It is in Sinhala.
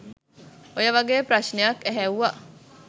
ඔය වගේ ප්‍රශ්නයක් ඇහැව්වා